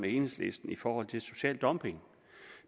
enhedslisten i forhold til social dumping